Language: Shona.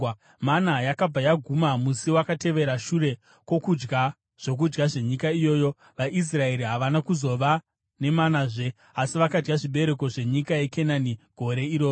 Mana yakabva yaguma musi wakatevera shure kwokudya zvokudya zvenyika iyoyo; vaIsraeri havana kuzova nemanazve, asi vakadya zvibereko zvenyika yeKenani gore iroro.